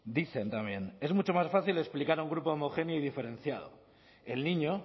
dicen también es mucho más fácil explicar a un grupo homogéneo y diferenciado el niño